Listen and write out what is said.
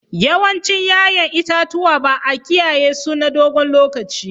Yawancin 'ya'yan itatuwa ba a kiyaye su na dogon lokaci.